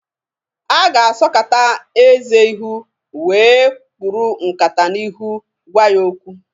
A ga-asọkata eze ihu wee kpuru nkata n'ihu gwa ya okwu.